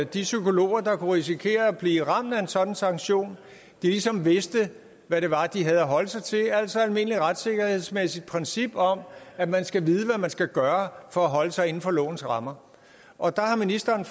de psykologer der kunne risikere at blive ramt af en sådan sanktion ligesom vidste hvad det var de havde at holde sig til altså et almindeligt retssikkerhedsmæssigt princip om at man skal vide hvad man skal gøre for at holde sig inden for lovens rammer og der har ministeren